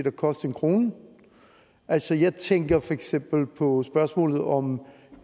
at koste en krone altså jeg tænker for eksempel på spørgsmålet om